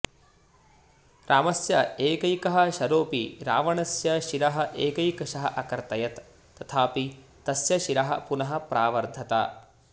रामस्य एकैकः शरोऽपि रावणस्य शिरः एकैकशः अकर्तयत् तथापि तस्य शिरः पुनः प्रावर्धत